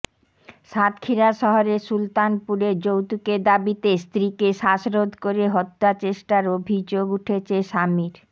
সাতক্ষীরা শহরের সুলতানপুরে যৌতুকের দাবিতে স্ত্রীকে শ্বাসরোধ করে হত্যাচেষ্টার অভিযোগ উঠেছে স্বামীর